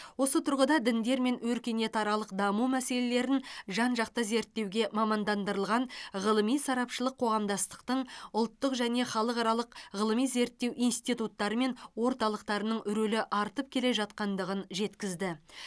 осы тұрғыда діндер мен өркениетаралық даму мәселелерін жан жақты зерттеуге мамандандырылған ғылыми сарапшылық қоғамдастықтың ұлттық және халықаралық ғылыми зерттеу институттары мен орталықтарының рөлі артып келе жатқандығын жеткізді